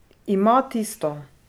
Ima tisto!